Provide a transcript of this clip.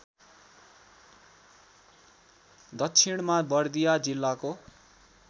दक्षिणमा बर्दिया जिल्लाको